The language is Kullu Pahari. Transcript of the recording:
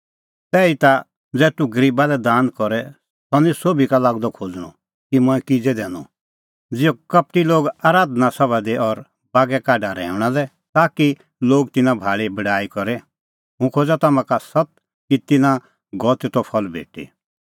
तैहीता ज़ै तूह गरीबा लै दान करे सह निं सोभी का लागदअ खोज़णअ कि मंऐं किज़ै दैनअ ज़िहअ कपटी लोग आराधना सभा दी और बागै काढा रहैऊंणा लै ताकि लोग तिन्नां भाल़ी बड़ाई करे हुंह खोज़ा तम्हां का सत्त कि तिन्नां गअ तेतो फल भेटी